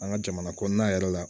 An ka jamana kɔnɔna yɛrɛ la